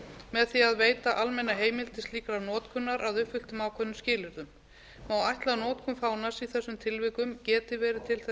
með því að veita almenna heimild til slíkrar notkunar að uppfylltum ákveðnum skilyrðum má ætla að notkun fánans í þessum tilvikum geti verið til